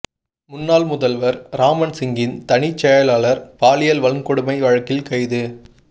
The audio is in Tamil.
முன்னாள் முதல்வர் ராமன் சிங்கின் தனிச் செயலர் பாலியல் வன்கொடுமை வழக்கில் கைது